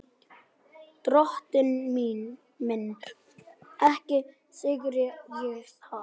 Drottinn minn, ekki syrgi ég það.